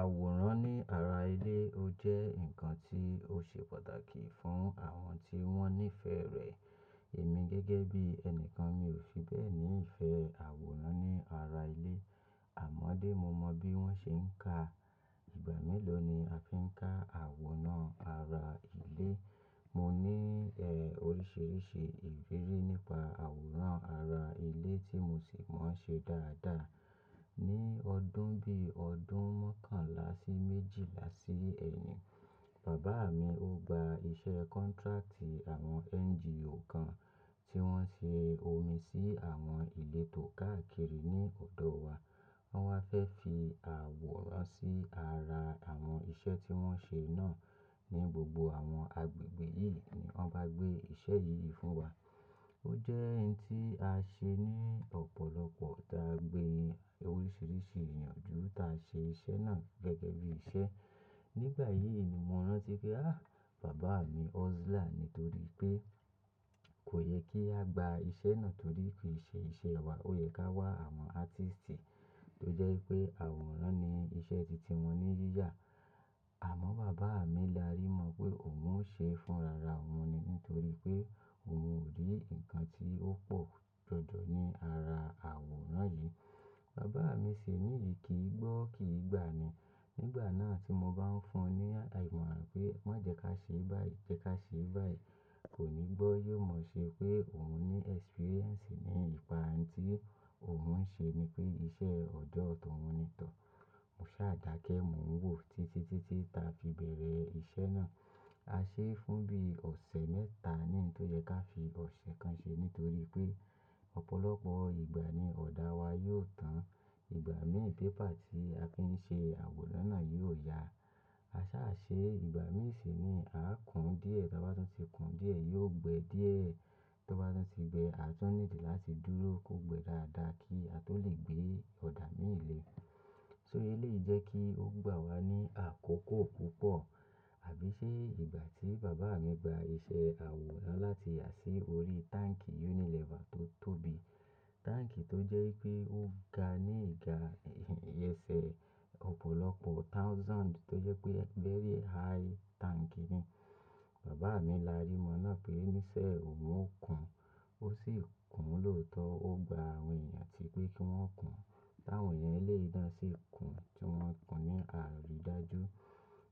Àwòrán ní ara ilé ó jẹ́ ǹkan tí ó ṣe pàtàkì fún àwọn tí wọ́n nífẹ̀ẹ́ rẹ̀. Èmi gẹ́gẹ́ bí ẹni kan mi ò fi bẹ́ẹ̀ ni ìfẹ́ àwòrán ní ara ilé. Àmọ́dé mo mọ bí wọ́n ṣe ń ka. Ìgbà mélòó ni a fi ń ká àwòrán ara ilé. Mo ní, e, oríṣiríṣi ìrírí nípa àwòrán ara ilé tí mo sì máa ń ṣe dáadáa. Ni ọdún bí ọdún mokànlá sí méjìlá sí ẹ́yìn, bàbá mi ó gba iṣẹ́ contract àwọn NGO kan tí wọ́n ṣe omi sí àwọn ilé tó káàkiri ní ọ̀dọ̀ wa. Wọ́n wá fẹ́ fi àwòrán sí ara àwọn iṣẹ́ tí wọ́n ṣe náà ní gbogbo àwọn agbègbè yìí ni wọ́n bá gbé iṣẹ́ yìí fún wa. Ó jẹ́ ẹyin tí a ṣe ní ọ̀pọ̀lọpọ̀ tá gbé oríṣiríṣi èèyàn ju tá ṣe iṣẹ́ náà gẹ́gẹ́ bí iṣẹ́. Nígbà yìí ni mo rántí pé, "Á, bàbá mi hustler nítorí pé kò yẹ kí a gba iṣẹ́ náà torí kì í ṣe iṣẹ́ wa. Ó yẹ ká wá àwọn artist tó jẹ́ pé àwòrán ni iṣẹ́ titi wọn ní yíyà." Àmọ́ bàbá mi lárí mọ pé òun ń ṣe fún rara òun nì nítorí pé òun ò rí ǹkan tí ó pọ̀ jọjọ ní ara àwòrán yìí. Bàbá mi ṣe níyì, kì í gbọ́, kì í gbà ni. Nígbà náà tí mo bá ń fún un ní àdìmọ̀ pé má jẹ ká ṣe báyìí, jẹ́ ká ṣe báyìí, kò ní gbọ́. Yóò mọ̀ ṣe pé òun ní iriri ní ìpa ẹyin tí òun ń ṣe ni pé iṣẹ́ ọ̀jọ̀ọ̀tọ́ òun ni tọ́. Mo ṣàdákẹ́, mò ń wò títí títí tá fi bẹ̀rẹ̀ iṣẹ́ náà. A ṣe é fún bí ọ̀sẹ̀ mẹ́ta níǹtó yẹ ká fi ọ̀sẹ̀ kan ṣe nítorí pé ọ̀pọ̀lọpọ̀ ìgbà ni ọ̀dà wa yóò tán. Ìgbà mìíràn paper tí a fi ń ṣe àwòrán náà yóò ya. A ṣa ṣe ìgbà mìíràn sì ni a kún díẹ̀, tí wọ́n bá ti ṣe kún díẹ̀, yóò gbẹ́ díẹ̀. Tí wọ́n bá ti gbẹ́, a tún nílò láti dúró kó gbẹ́ dáadáa kí a tó lè gbé ọ̀dà mìíràn lé fún un. Nitori naa eléyìí jẹ́ kí ó gbà wá ní àkókò púpọ̀. Àbí ṣe ìgbà tí bàbá mi gba iṣẹ́ àwòrán láti yà sí orí táǹkì Unilever tó tóbi. Táǹkì tó jẹ́ pé ó ga ní ìga, ìyẹn ṣé ọ̀pọ̀lọpọ̀ thousand tó jẹ́ pé ẹ gbẹ́rẹ́ high tank ni. Bàbá mi lárí mọ náà pé níṣẹ́ òun ó kun. Ó sì kún lóòótọ́. Ó gba àwọn èèyàn tí pé kí wọ́n kùn. Láwọn èèyàn lé ìdán sì kùn tí wọ́n ń kùn ní àrídájú.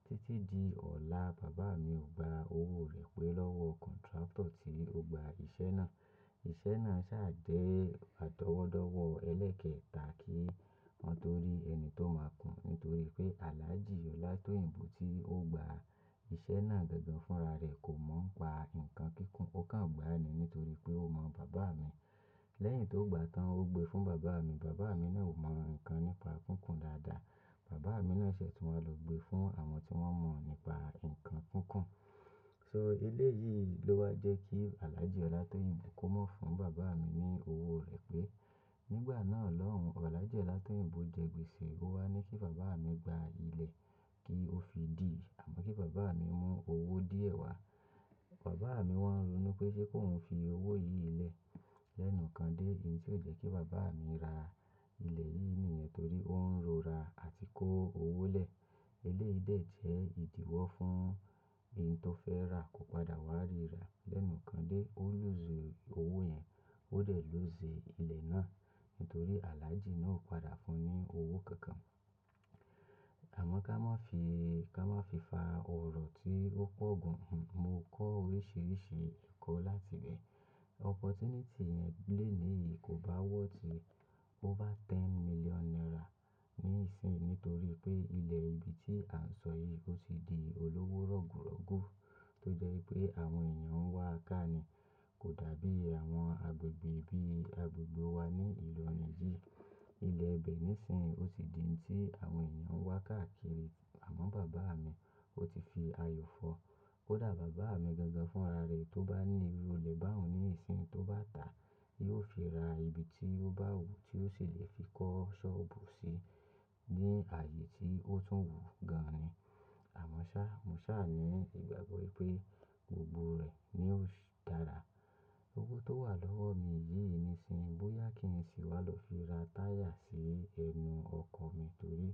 Títí di ọ̀la bàbá mi ò gba owó rẹ̀ pé lọ́wọ́ contractor tí ó gba iṣẹ́ náà. Iṣẹ́ náà sá à jẹ́ pàtọ́wọ́dọ́wọ́ ẹlẹ́kẹta kí wọn tó rí ẹni tó máa kùn nítorí pé Alhaji Ola Toyinbo tí ó gba iṣẹ́ náà gangan fúnra rẹ̀ kò mọ̀ ń pa ǹkan kíkún, ó kàn gbà á ni nítorí pé ó mọ̀ bàbá mi. Lẹ́yìn tó gbà tán ó gbe fún bàbá mi, bàbá mi náà ò mọ̀ ǹkan nípa kíkún dáadáa. Bàbá mi ná ṣẹ́ tí wọ́n lọ gbe fún àwọn tí wọ́n mọ̀ nípa ǹkan kíkún. Nitori naa, eléyìí ló wá jẹ́ kí Alhaji Ola Toyinbo kó mọ̀ fún bàbá mi ní owó rẹ̀ pé. Nígbà náà lọ́hùn, Alhaji Ola Toyinbo jẹ gbèsè. Ó wá ní kí bàbá mi gba ilẹ̀ kí ó fi dì àmọ́ kí bàbá mi mú owó díẹ̀ wá. Bàbá mi wọ́n ń ronú pé ṣé kóun fi owó yìí lẹ̀ lẹ́nu kan dé. Eyín tí ó jẹ́ kí bàbá mi ra ilẹ̀ yìí nìyẹn torí ó ń ro ra àti kó owó lẹ̀. Eléyìí dè jẹ́ ìdíwọ́ fún ẹni tó fẹ́ rà kò padà wá rí rà lẹ́nu kan dé. Ó lù zẹ owó yẹn, óò dè ló zẹ ilẹ̀ náà nítorí Alhaji náà ò padà fún un ní owó kankan. Àmọ́ ká má fi, ká má fi fa ọ̀rọ̀ tí ó pọ̀ gan. Mo kọ́ oríṣiríṣi ẹ̀kọ́ láti ibẹ̀. Ànfàani yẹn lélè yìí kò bá wọ́ ti ju ten million naira nísìnyí nítorí pé ilẹ̀ ibi tí à ń sọ yìí ó ti di olówó rọ̀gùrọ̀gù tó jẹ́ wípé àwọn èèyàn ń wá káàni. Kò dàbí àwọn agbègbè bí i agbègbè wa ní ìlú òní yìí. Ilẹ̀ ibẹ̀ nísìnyí ó ti di ẹyin tí àwọn èèyàn ń wá káàkiri. Àmọ́ bàbá mi, ó ti fi ayọ̀ fọ́. Kò dà bàbá mi gangan fúnra rẹ̀ tí ó bá ní irú ilẹ̀ bá òun ní ìsìn tó bá dà, yóò fi ra ibi tí ó bá wù ú tí ó ṣì lè fi kọ́ sọ́ọ̀bù sí ní ààyè tí ó tún wù ú gan ni. Àmọ́ ṣá, mo ṣà ní ìgbàgbọ́ wípé gbogbo rẹ̀ ni ò sí dára. Owó tó wà lọ́wọ́ mi yìí nísìnyí bóyá kí n sì wá lọ fi ra táyà sí ẹnu ọkọ̀ mi torí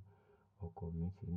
ọkọ̀ mi ti nà.